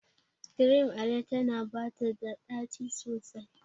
Cream Ale tana bata da daci sosai.